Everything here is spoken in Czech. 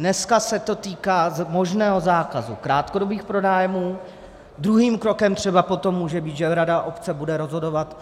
Dnes se to týká možného zákazu krátkodobých pronájmů, druhým krokem třeba potom může být, že rada obce bude rozhodovat